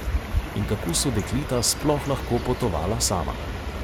In kako so dekleta sploh lahko potovala sama?